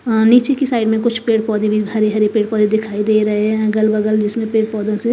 हां नीचे की साइड में कुछ पेड़ पौधे भी हरे हरे पेड़ पौधे दिखाई दे रहे हैं अगल बगल जिसमें पेड़ पौधों से--